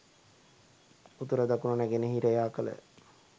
උතුර දකුණ නැගෙනහිර යා කළ